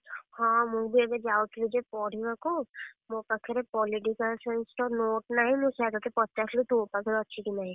ହଁ ମୁଁ ବି ଏବେ ଯାଉଥିଲି ଯେ ପଢିବାକୁ ମୋ ପାଖରେ Political Science ର note ନାହିଁ। ମୁଁ ସେୟା ତତେ ପଚାରୁଥିଲି ତୋ ପାଖରେ ଅଛି କି ନାହିଁ?